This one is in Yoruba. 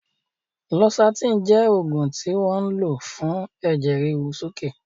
Losartan jẹ́ oògùn tí wọ́n ń lò fún ẹ̀jẹ̀ ríru sókè